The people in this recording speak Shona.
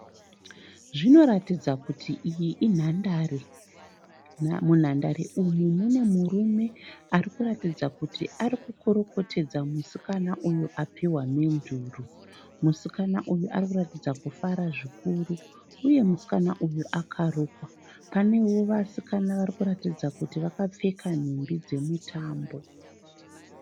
Zvinoratidza kuti iyi inhandare. Munhandare umu mune murume ari kuratidza kuti ari kukorokotedza musikana uyo apihwa mhenduro. Musikana uyu ari kuratidza kuti ari kufara zvikuru uye musikana uyu akarukwa. Panewo vasikana vari kuratidza kuti vakapfeka nhumbi dzemutambo.